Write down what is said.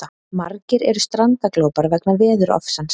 Margir eru strandaglópar vegna veðurofsans